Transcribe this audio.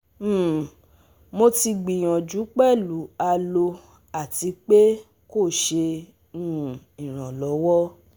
um Mo ti gbiyanju pelu Aloe ati pe ko ṣe um iranlọwọ